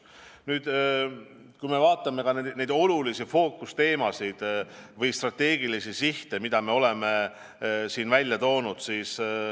Nüüd, vaatame neid olulisi fookusteemasid või strateegilisi sihte, mis me oleme siin välja toonud.